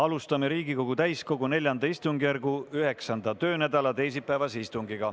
Alustame Riigikogu täiskogu IV istungjärgu 9. töönädala teisipäevast istungit.